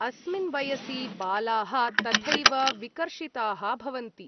अस्मिन् वयसि बालाः तथैव विकर्षिताः भवन्ति।